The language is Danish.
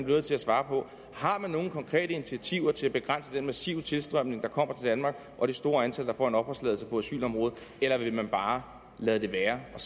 nødt til at svare på har man nogen konkrete initiativer til at begrænse den massive tilstrømning der kommer til danmark og det store antal der får en opholdstilladelse på asylområdet eller vil man bare lade det være og